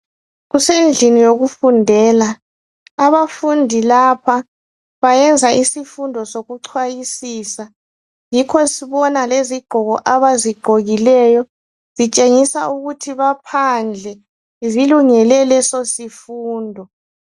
Kusendlini yokufundela. Abafundi lapha bayenza isifundo sokuchwayisisa, yikho sibona lezigqoko abazigqokileyo zitshengisa ukuthi baphandle. Zilungele leso sifundo.